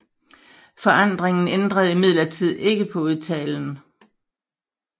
Forandringen ændrede imidlertid ikke på udtalen